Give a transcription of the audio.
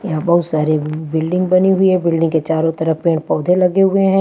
यहाँ बहुत सारे बिल्डिंग बनी हुई है बिल्डिंग के चारों तरफ पेड़ पौधे लगे हुए हैं।